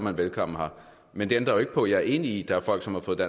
er velkommen men det ændrer jo ikke på at jeg er enig i at der er folk som har fået